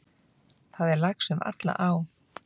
Það er lax um alla á.